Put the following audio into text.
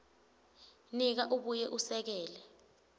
nika abuye esekele